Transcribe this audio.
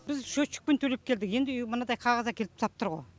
біз счетчикпен төлеп келдік енді үй мынадай қағаз әкеліп тастап тұр ғой